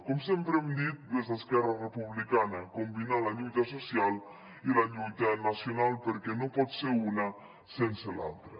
com sempre hem dit des d’esquerra republicana combinar la lluita social i la lluita nacional perquè no pot ser una sense l’altra